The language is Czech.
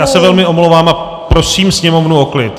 Já se velmi omlouvám a prosím sněmovnu o klid!